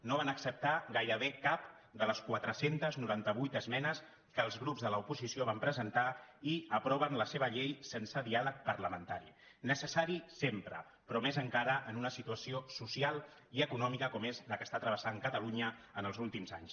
no van acceptar gairebé cap de les quatre cents i noranta vuit esmenes que els grups de l’oposició vam presentar i aproven la seva llei sense diàleg parlamentari necessari sempre però més encara en una situació social i econòmica com és la que està travessant catalunya els últims anys